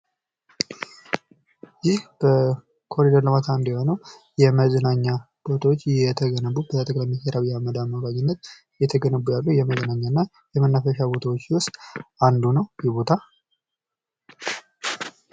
ይህ የመዝናኛ እና የመናፈሻ ቦታዎች በጠቅላይ ሚኒስቴር ዶክተር አብይ አህመድ አማካኝነት እየተገነቡ የሚያሳይ ምስል ነው።